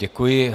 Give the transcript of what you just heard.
Děkuji.